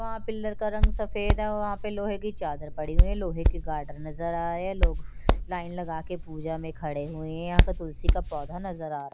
वहाँं पिल्लर का रंग सफेद है वहाँं पे लोहे की चादर पड़ी हुई है लोहे के गार्डर नजर आ रहे है लोग लाइन लगा के पूजा में खड़े हुए है यहाँ पर तुलसी का पौधा नजर आ रहा --